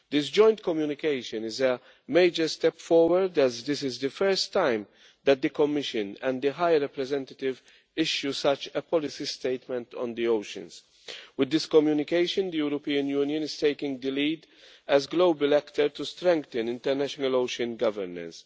This Joint Communication is a major step forward, as this is the first time that the Commission and the High Representative have issued such a policy statement on the oceans. With this Communication, the European Union is taking the lead as a global actor in strengthening international ocean governance.